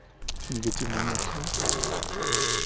негативные эмоции вот